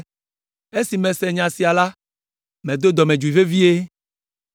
Esi mese nya sia la, medo dɔmedzoe vevie.